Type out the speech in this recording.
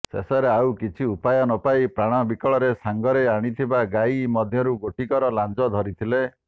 ଶେଷରେ ଆଉ କିଛି ଉପାୟ ନପାଇ ପ୍ରାଣ ବିକଳରେ ସାଙ୍ଗରେ ଆଣିଥିବା ଗାଈ ମଧ୍ୟରୁ ଗୋଟିକର ଲାଞ୍ଜ ଧରିଥିଲେ